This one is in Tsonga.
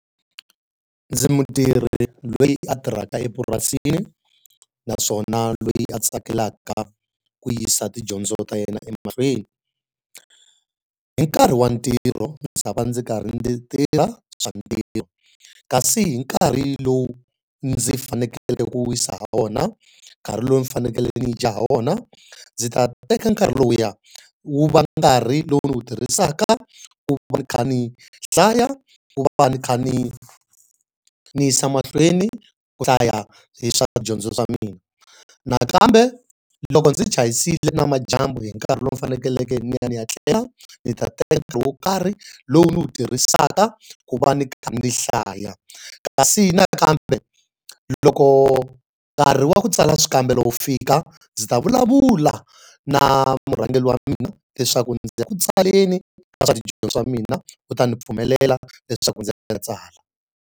Ndzi mutirhi loyi a tirhaka epurasini, naswona loyi a tsakelaka ku yisa tidyondzo ta yena emahlweni. Hi nkarhi wa ntirho ndzi ta va ndzi karhi ndzi tirha swa ntirho, kasi hi nkarhi lowu ndzi fanekele ku wisa hi wona, nkarhi lowu ni fanekele ni dya hi wona, ndzi ta ta teka nkarhi lowuya wu va nga nkarhi lowu ndzi wu tirhisaka ku va ni kha ni hlaya, ku va va ni kha ni ni yisa emahlweni ku hlaya hi swa tidyondzo swa mina nakambe loko ndzi chayisile nimadyambu hi nkarhi lowu faneleke ni ya ni ya tlela, ndzi ta teka wo karhi lowu ndzi wu tirhisaka ku va ni kha ni hlaya. Kasi hi nakambe loko nkarhi wa ku tsala swikambelo wu fika, ndzi ta vulavula na murhangeri wa mina leswaku ndzi ya ku tswaleni ka swa tidyondzo swa mina. U ta ni pfumelela leswaku ndzi ya ndzi ya tsala.